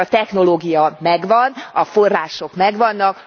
Hiszen a technológia megvan, a források megvannak.